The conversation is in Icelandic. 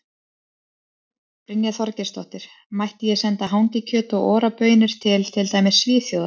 Brynja Þorgeirsdóttir: Mætti ég senda hangikjöt og Ora baunir til, til dæmis Svíþjóðar?